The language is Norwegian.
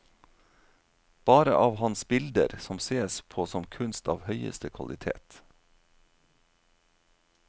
Bare av hans bilder, som sees på som kunst av høyeste kvalitet.